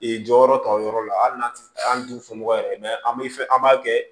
jɔyɔrɔ ta o yɔrɔ la hali n'a tɛ an t'u fɔ mɔgɔ ye an bɛ fɛ an b'a kɛ